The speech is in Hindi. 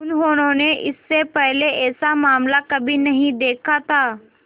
उन्होंने इससे पहले ऐसा मामला कभी नहीं देखा था